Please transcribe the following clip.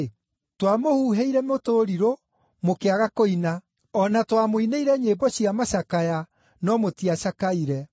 “ ‘Twamũhuhĩire mũtũrirũ, mũkĩaga kũina; o na twamũinĩire nyĩmbo cia macakaya, no mũtiacakaire.’